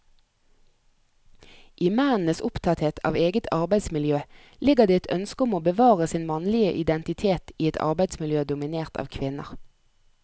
I mennenes opptatthet av eget arbeidsmiljø ligger det et ønske om å bevare sin mannlige identitet i et arbeidsmiljø dominert av kvinner.